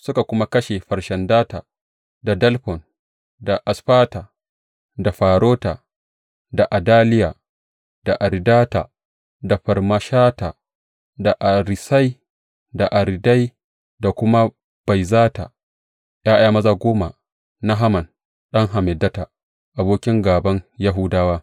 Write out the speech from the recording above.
Suka kuma kashe Farshandata, da Dalfon, da Asfata, da Forata, da Adaliya, da Aridata, da Farmashta, da Arisai, da Aridai da kuma Baizata, ’ya’ya maza goma na Haman ɗan Hammedata, abokin gāban Yahudawa.